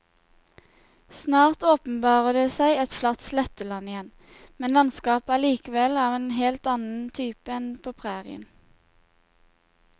Snart åpenbarer det seg et flatt sletteland igjen, men landskapet er likevel av en helt annen type enn på prærien.